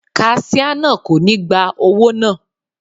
Kaṣíá náà kò ní gba owó náà..